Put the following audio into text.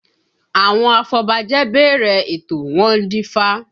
Àwọn afọbajẹ bẹ̀rẹ̀ ètò, wọ́n dífá